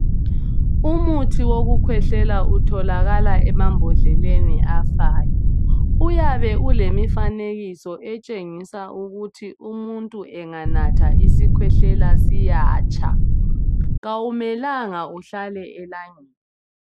Umuthi wokukhwehlela utholakala emabhodleleni afayo uyabe ulemifanekiso etshengisa ukuthi umuntu enganatha isikhwehlela siyatsha kawumelanga uhlale elangeni.